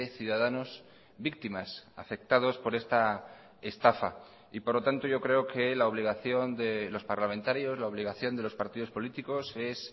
ciudadanos víctimas afectados por esta estafa y por lo tanto yo creo que la obligación de los parlamentarios la obligación de los partidos políticos es